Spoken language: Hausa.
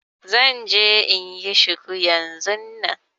Zan je inyi shuku yanzun nan